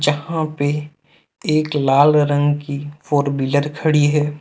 जहां पे एक लाल रंग की फोर व्हीलर खड़ी है।